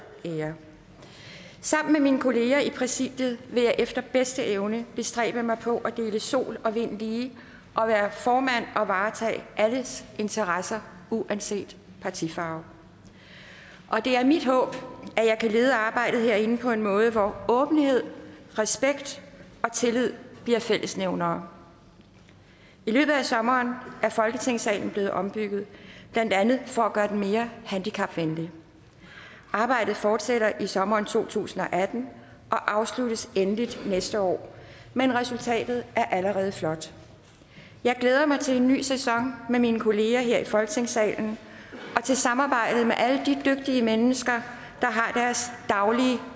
ære sammen med mine kolleger i præsidiet vil jeg efter bedste evne bestræbe mig på at dele sol og vind lige og være formand og varetage alles interesser uanset partifarve det er mit håb at jeg kan lede arbejdet herinde på en måde hvor åbenhed respekt og tillid bliver fællesnævnere i løbet af sommeren er folketingssalen blevet ombygget blandt andet for at gøre den mere handicapvenlig arbejdet fortsætter i sommeren to tusind og atten og afsluttes endeligt næste år men resultatet er allerede flot jeg glæder mig til en ny sæson med mine kolleger her i folketingssalen og til samarbejdet med alle de dygtige mennesker der har deres daglige